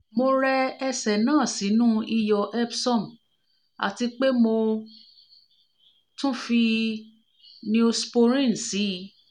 mo rẹ ẹ̀sẹ̀ náà sínú iyọ̀ epsom àti pé mo tún fi neosporin sí i